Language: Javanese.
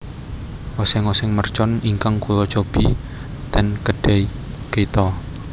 Oseng oseng mercon ingkang kulo cobi ten Kedai Kita